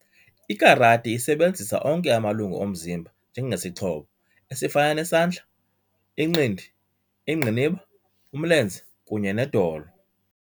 IKarati isebenzisa onke amalungu omzimba njengesixhobo esifana nesandla, inqindi, ingqiniba, umlenze kunye nedolo.